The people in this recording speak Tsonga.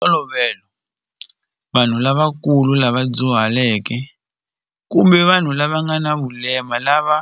Hi ntolovelo vanhu lavakulu lava dyuhaleke kumbe vanhu lava nga na vulema lava